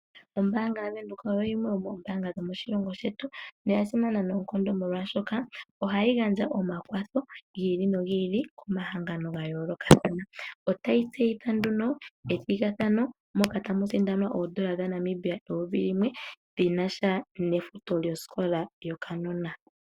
Ombanga yaVenduka oyo yimwe yomoombanga dhomo shilongo shetu noyasimana noonkondo molwashoka ohayi gandja omakwatho giili no giili komahangano gayolokathana . Otayi tseyitha nduno ethigathano moka tamu sindanwa oondola dhaNamibia eyovi limwe dhinasha nefuto lyo sikola yo kanona.